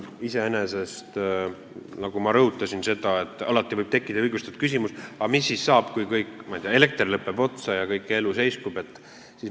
Iseenesest, nagu ma rõhutasin, alati võib tekkida õigustatud küsimus, aga mis siis saab, kui, ma ei tea, elekter lõpeb otsa ja kogu elu seiskub.